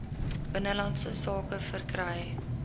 binnelandse sake verkry